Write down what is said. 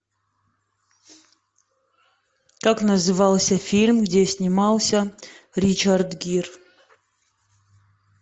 как назывался фильм где снимался ричард гир